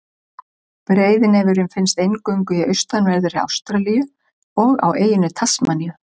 Breiðnefurinn finnst eingöngu í austanverðri Ástralíu og á eyjunni Tasmaníu.